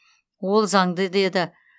ол заңды деді